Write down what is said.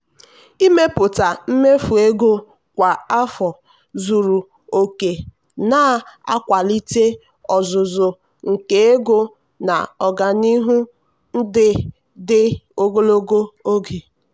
ịmepụta mmefu ego kwa afọ zuru oke na-akwalite ọzụzụ nke ego na ọganihu dị dị ogologo oge.